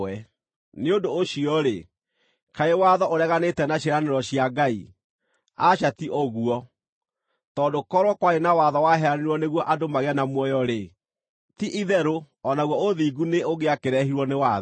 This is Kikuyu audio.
Nĩ ũndũ ũcio-rĩ, kaĩ watho ũreganĩte na ciĩranĩro cia Ngai? Aca ti ũguo! Tondũ korwo kwarĩ na watho waheanirwo nĩguo andũ magĩe na muoyo-rĩ, ti-itherũ o naguo ũthingu nĩ ũngĩakĩrehirwo nĩ watho.